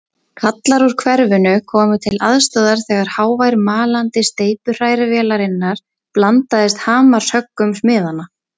Kallar úr hverfinu komu til aðstoðar þegar hávær malandi steypuhrærivélarinnar blandaðist hamarshöggum smiðanna.